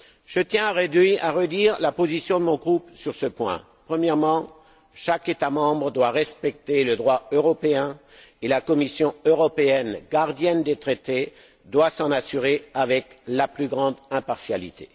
Je tiens à redire la position de mon groupe sur ce point. Premièrement, chaque État membre doit respecter le droit européen et la Commission européenne, gardienne des traités, doit s'en assurer avec la plus grande impartialité.